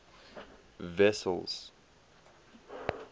wessels